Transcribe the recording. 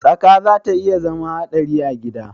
Tsaka zata iya zama hadari a gida.